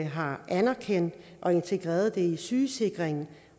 har anerkendt og integreret det i sygesikringen